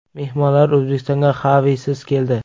Mehmonlar O‘zbekistonga Xavisiz keldi.